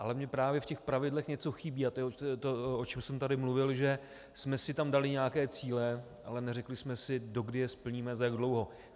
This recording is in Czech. Ale mně právě v těch pravidlech něco chybí a to je to, o čem jsem tady mluvil - že jsme si tam dali nějaké cíle, ale neřekli jsme si, dokdy je splníme, za jak dlouho.